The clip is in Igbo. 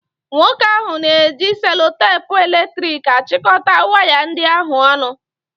Nwoke ahụ na-eji selotepu eletrik achịkọta waya ndị ahụ ọnụ.